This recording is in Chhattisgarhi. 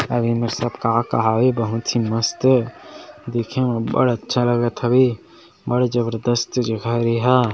अऊ ये मेर सब का-का हावे बहुत ही मस्त देखे में बढ़ अच्छा लगत हवे बढ़ जबरदस्त जगह ये एहा--